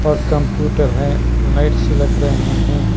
Computer है lights लग रहे हैं।